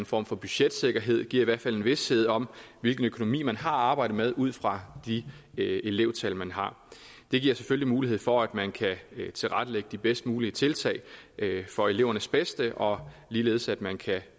form for budgetsikkerhed den giver i hvert fald en vished om hvilken økonomi man har at arbejde med ud fra de elevtal man har det giver selvfølgelig mulighed for at man kan tilrettelægge de bedst mulige tiltag for elevernes bedste og ligeledes at man kan